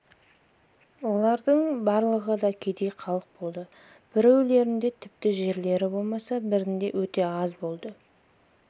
олардың барлығы да кедей халық болды біреулерінде тіпті жерлері болмаса бірінде өте аз болды